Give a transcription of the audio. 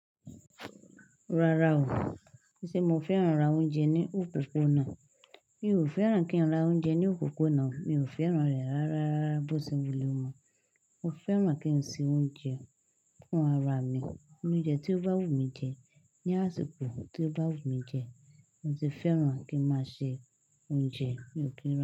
Rara o, ṣe mo fẹ́ran ra oúnjẹ ní òpópónà? Mi ò fẹ́ran kí n ra oúnjẹ ní òpópónà, mi ò fẹ́ran rẹ rárá. Bó tí wulẹ̀ ó mọ, mo fẹ́ran kí n se oúnjẹ fún ara mi. Òúnjẹ tí ó bá wù mí jẹ, ní àsìkò tí ó bá wù mí jẹ. Mo sì fẹ́ran kí n máa se oúnjẹ mi ò kí n ra.